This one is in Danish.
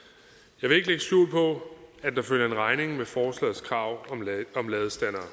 er skjul på at der følger en regning med forslagets krav om ladestandere